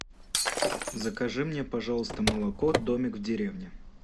закажи мне пожалуйста молоко домик в деревне